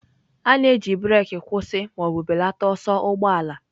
A na-eji breeki kwụsị ma ọ bụ belata ọsọ ụgbọ ala.